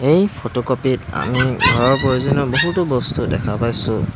এই ফটোকপিট আমি ঘৰৰ প্ৰয়োজনীয় বহুতো বস্তু দেখা পাইছোঁ।